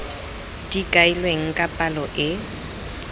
di kailweng ka palo e